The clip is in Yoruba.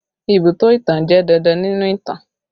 Ibùdó ìtàn jẹ́ dandan nínú ìtàn